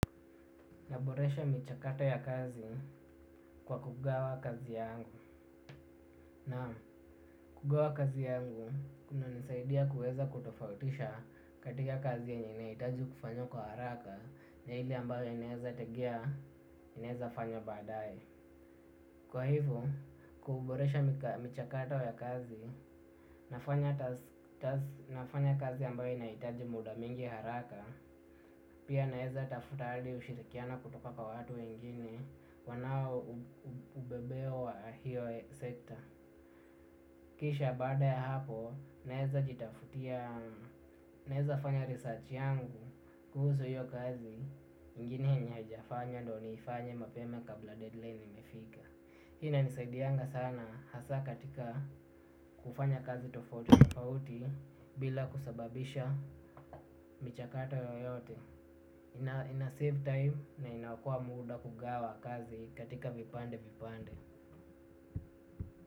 Naboresha michakato ya kazi kwa kugawa kazi yangu. Na kugawa kazi yangu kunanisaidia kuweza kutofautisha katika kazi yenye inahitaji kufanywa kwa haraka na ile ambayo inaeza tegea, inaeza fanywa baadaye. Kwa hivo, kuboresha michakato ya kazi, nafanya kazi ambayo inahitaji muda mingi haraka, pia naeza tafuta hali ya ushirikiano kutoka kwa watu wengine wanao ubebeo wa hiyo sekta. Kisha baada ya hapo naeza jitafutia. Naeza fanya research yangu kuhusu hiyo kazi ingine yenye hajafanya ndo niifanye mapema kabla deadline imefika. Hii inanisaidianga sana hasa katika kufanya kazi tofauti tofauti. Bila kusababisha michakato yoyote inasave time na inakua muda kugawa kazi katika vipande vipande.